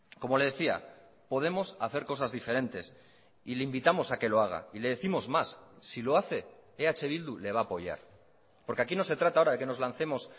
como le decía podemos hacer cosas diferentes y le invitamos a que lo haga y le décimos más si lo hace eh bildu le va a apoyar porque aquí no se trata ahora de que nos lancemos